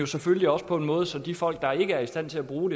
selvfølgelig også på en måde så de folk der ikke er i stand til at bruge